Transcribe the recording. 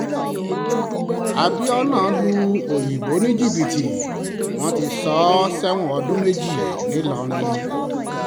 abiona lu òyìnbó ní jìbìtì wọ́n ti sọ ọ́ sẹ́wọ̀n ọdún méjì ńìlọrin